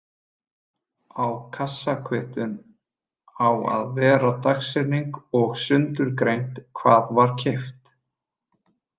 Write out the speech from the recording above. Á kassakvittun á að vera dagsetning og sundurgreint hvað var keypt.